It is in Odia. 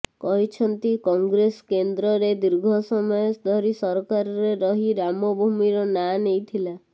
କହିଛନ୍ତି କଂଗ୍ରେସ କେନ୍ଦ୍ରରେ ଦୀର୍ଘ ସମୟ ଧରି ସରକାରରେ ରହି ରାମ ଜନ୍ମଭୂମିର ନାଁ ନେଇଥିଲା